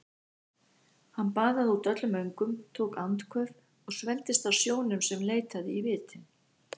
Hann baðaði út öllum öngum, tók andköf og svelgdist á sjónum sem leitaði í vitin.